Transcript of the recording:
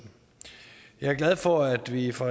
jeg er glad for at vi fra